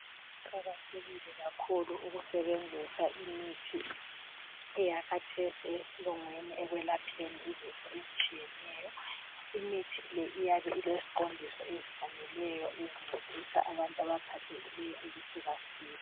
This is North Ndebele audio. kuqakathekile kakhulu ukusebenzisa imithi eyakhatheso eyesilungwini ekwelapheni izifo ezitshiyeneyo imithi le iyabe ileziqondiso ezifaneleyo ezincedisa abantu abaphathekileyo ukuthi basile